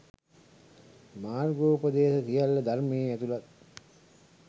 මාර්ගෝපදේශ සියල්ල ධර්මයේ ඇතුළත්.